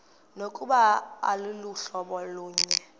nokuba aluhlobo lunye